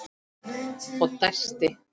Og dæsti.